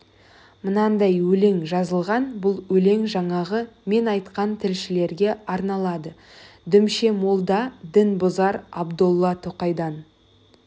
мынандай өлең жазылған бұл өлең жаңағы мен айтқан тілшілерге арналады дүмше молда дін бұзар абдолла тоқайдан